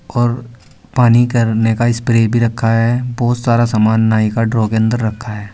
और पानी करने का स्प्रे भी रखा है बहुत सारा सामान नाई का ड्रॉ के अंदर रखा है।